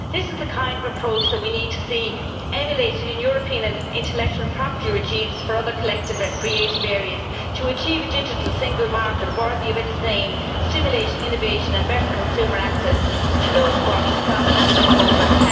This is the kind of approach that we need to see emulated in European intellectual property regimes for other collective creative areas, to achieve a digital single market worthy of its name, stimulating innovation and better consumer access to those works across national borders.